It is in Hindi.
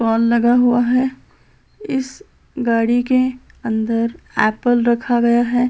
स्टाल लगा हुआ है इस गाड़ी के अंदर एप्पल रखा गया है।